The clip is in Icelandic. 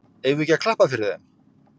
Eigum við ekki að klappa fyrir þeim?